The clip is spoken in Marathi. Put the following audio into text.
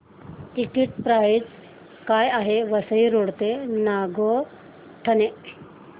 टिकिट प्राइस काय आहे वसई रोड ते नागोठणे